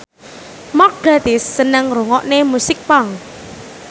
Mark Gatiss seneng ngrungokne musik punk